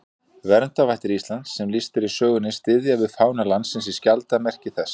Verndarvættir Íslands sem lýst er í sögunni styðja við fána landsins í skjaldarmerki þess.